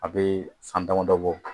A bɛ san damadɔ bɔ.